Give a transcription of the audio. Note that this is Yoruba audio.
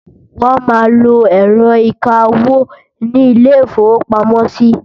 wón má ló ẹrọ ìká owó ní ilè ifowo pàmò sí